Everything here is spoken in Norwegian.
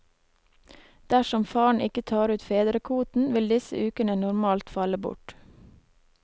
Dersom faren ikke tar ut fedrekvoten, vil disse ukene normalt falle bort.